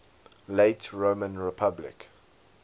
late roman republic